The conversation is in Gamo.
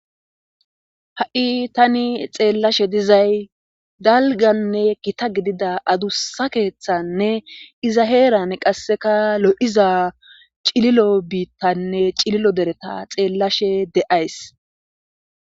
Ha'i tani xeellashe dizay dalganne kita gidida adusa keeththanne iza heeran qasseka lo'iza cililo biittanne cililo dereta xeellashe de7ays.